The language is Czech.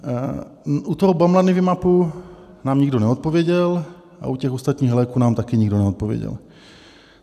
U toho Bamlanivimabu nám nikdo neodpověděl a u těch ostatních léků nám taky nikdo neodpověděl.